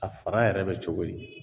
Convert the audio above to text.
A fara yɛrɛ bɛ cogo di?